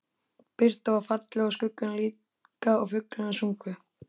Birtan var falleg og skuggarnir líka og fuglarnir sungu.